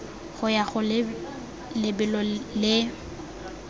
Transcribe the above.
go ya go lebelo le